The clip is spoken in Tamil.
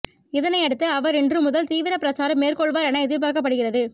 இதனையடுத்து அவர் இன்று முதல் தீவிர பிரச்சாரம் மேற்கொள்வார் என எதிர்பார்க்கப்படுகிறது